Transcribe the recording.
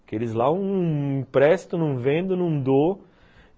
Aqueles lá eu não empresto, não vendo, não dou.